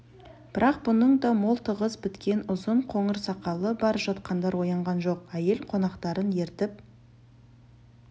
бірақ бұның да мол тығыз біткен ұзын қоңыр сақалы бар жатқандар оянған жоқ әйел қонақтарын ертіп